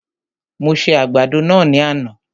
Mo se àgbàdo náà ní àná